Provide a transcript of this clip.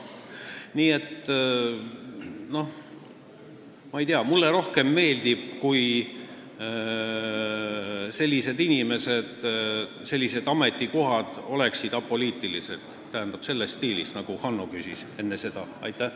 Nii et mulle meeldiks rohkem see, kui sellised ametikohad oleksid apoliitilised, selles stiilis, nagu Hanno enne küsis.